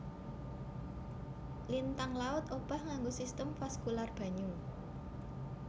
Lintang laut obah nganggo sistem vaskular banyu